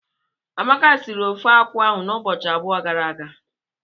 Amaka sịrị ofeakwụ ahụ n'ụbọchị abụọ gara aga.